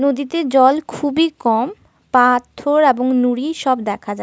নদীতে জল খুবই কম। পাথর এবং নুড়ি সব দেখা যাচ--